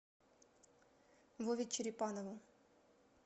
вове черепанову